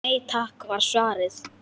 Nei takk var svarið.